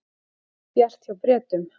Ekki bjart hjá Bretum